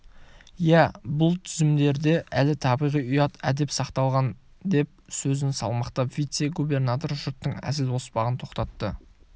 иә бұл түземдерде әлі табиғи ұят әдеп сақталған деп сөзін салмақтап вице-губернатор жұрттың әзіл-оспағын тоқтатты